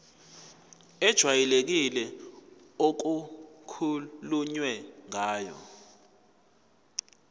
ejwayelekile okukhulunywe ngayo